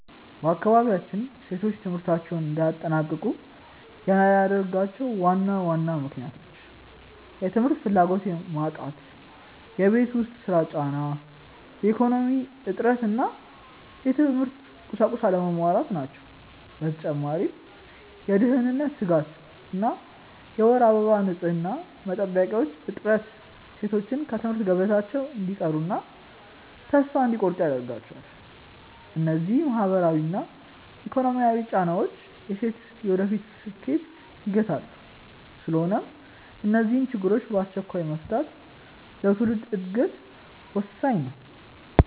በአካባቢያችን ሴቶች ትምህርታቸውን እንዳያጠናቅቁ የሚያደርጓቸው ዋና ዋና ምክንያቶች፦ የ ትምህርት ፍላጎት መጣት የቤት ውስጥ ሥራ ጫና፣ የኢኮኖሚ እጥረት እና የትምህርት ቁሳቁስ አለመሟላት ናቸው። በተጨማሪም የደህንነት ስጋት እና የወር አበባ ንፅህና መጠበቂያዎች እጥረት ሴቶች ከትምህርት ገበታቸው እንዲቀሩና ተስፋ እንዲቆርጡ ያደርጋቸዋል። እነዚህ ማህበራዊና ኢኮኖሚያዊ ጫናዎች የሴቶችን የወደፊት ስኬት ይገታሉ። ስለሆነም እነዚህን ችግሮች በአስቸኳይ መፍታት ለትውልድ ዕድገት ወሳኝ ነው።